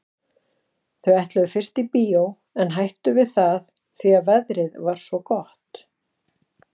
Þau ætluðu fyrst í bíó en hættu við það því að veðrið var svo gott.